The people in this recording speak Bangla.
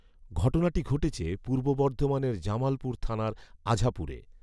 ঘটনাটি ঘটেছে পূর্ব বর্ধমানের জামালপুর থানার আঝাপুরে